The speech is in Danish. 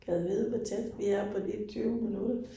Gad vide hvor tæt vi er på de 20 minutter